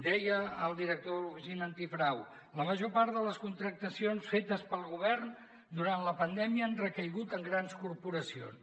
deia el director de l’oficina antifrau la major part de les contractacions fetes pel govern durant la pandèmia han recaigut en grans corporacions